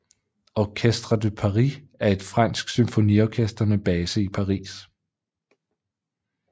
Orchestre de Paris er et fransk symfoniorkester med base i Paris